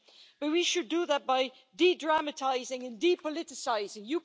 Maybe we should do that by de dramatising and de politicising.